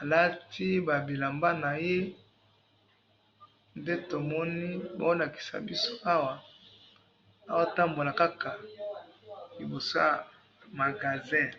alati ba bilamba naye, nde tomoni bazolakisa biso awa, azatambola kaka liboso ya magasin